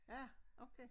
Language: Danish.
Ja okay